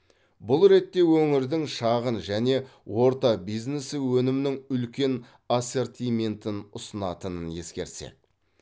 бұл ретте өңірдің шағын және орта бизнесі өнімнің үлкен ассортиментін ұсынатынын ескерсек